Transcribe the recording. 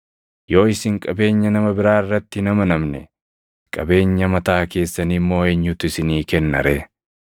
Yoo isin qabeenya nama biraa irratti hin amanamne, qabeenya mataa keessanii immoo eenyutu isinii kenna ree?